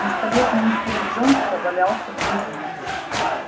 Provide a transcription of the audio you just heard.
пистолет мистера джонса валялся в грязи